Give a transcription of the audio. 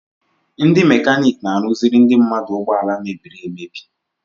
Ndị mekaniki na-arụziri ndị mmadụ ụgbọala mebiri emebi.